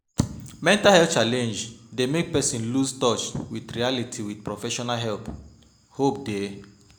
Mental health challenges dey make person loose touch with reality with professional help, hope dey